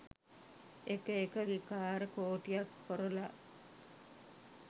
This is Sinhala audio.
එක එක විකාර කෝටියක් කොරලා